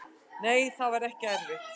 Nei, það var ekki erfitt.